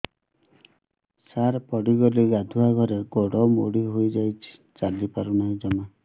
ସାର ପଡ଼ିଗଲି ଗାଧୁଆଘରେ ଗୋଡ ମୋଡି ହେଇଯାଇଛି ଚାଲିପାରୁ ନାହିଁ ଜମା